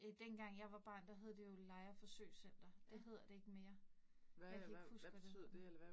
Øh dengang jeg var barn, der hed jo Lejre forsøgscenter, det hedder det ikke mere. Jeg kan ikke huske, hvad det hedder nu